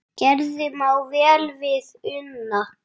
Gerður má vel við una.